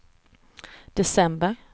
december